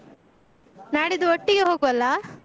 ನಾಡಿದ್ದು ಒಟ್ಟಿಗೆ ಹೋಗುವಲ್ಲಾ?